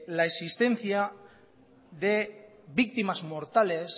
la existencia de víctimas mortales